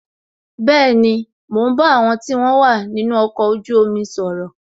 Bẹẹni, mo ń bá àwọn tí wọn wà nínú ọkọ̀ ojú omi sọ̀rọ̀